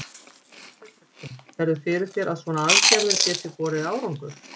Hafsteinn Hauksson: Sérðu fyrir þér að svona aðgerðir geti borið árangur?